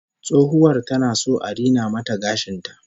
Tsohuwar tana son a rina mata gashin ta